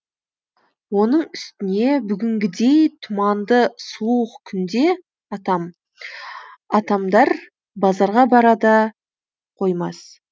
оның үстіне бүгінгідей тұманды суық күнде атамдар базарға бара да қоймас